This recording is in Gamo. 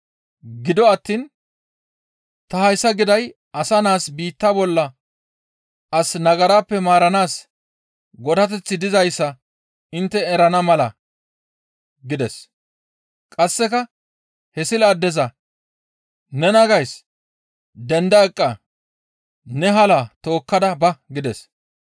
Gido attiin ta hayssa giday asa naas biitta bolla as nagarappe maaranaas godateththi dizayssa intte erana mala» gides; qasseka he sila addeza, «Nena gays! Denda eqqa! Ne halaa tookkada ba!» gides.